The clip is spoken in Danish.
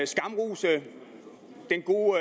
skamrose den gode